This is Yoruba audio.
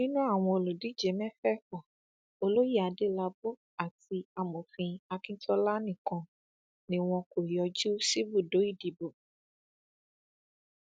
nínú àwọn olùdíje mẹfẹẹfà olóyè adélábù àti amòfin akíntola nìkan ni wọn kò yọjú síbùdó ìdìbò